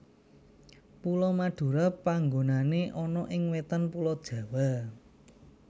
Pulo Madura panggonané ana ing wetané Pulo Jawa